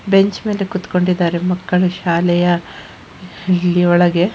bench ಮೇಲೆ ಕೂತ್ಕೊಂಡಿದ್ದಾರೆ ಮಕ್ಕಳು ಶಾಲೆಯ ಇಲ್ಲಿ ಒಳಗೆ --